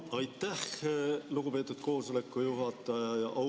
Aitäh, lugupeetud koosoleku juhataja!